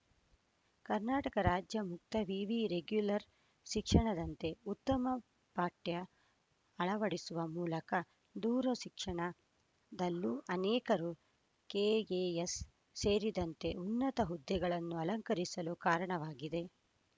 ಕರ್ನಾಟಕ ರಾಜ್ಯ ಮುಕ್ತ ವಿವಿ ರೆಗ್ಯುಲರ್‌ ಶಿಕ್ಷಣದಂತೆಯೇ ಉತ್ತಮ ಪಠ್ಯ ಅಳವಡಿಸುವ ಮೂಲಕ ದೂರ ಶಿಕ್ಷಣದಲ್ಲೂ ಅನೇಕರು ಕೆಎಎಸ್‌ ಸೇರಿದಂತೆ ಉನ್ನತ ಹುದ್ದೆಗಳನ್ನು ಅಲಂಕರಿಸಲು ಕಾರಣವಾಗಿದೆ